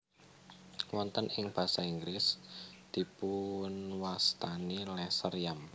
Wonten ing basa Inggris dipunwastani lesser yam